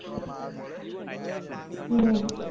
હમ